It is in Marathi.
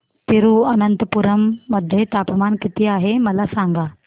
तिरूअनंतपुरम मध्ये तापमान किती आहे मला सांगा